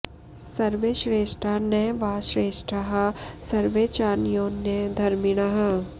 सर्वे श्रेष्ठा न वा श्रेष्ठाः सर्वे चान्योन्य धर्मिणः